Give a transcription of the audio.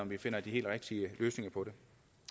vi finder de helt rigtige løsninger på det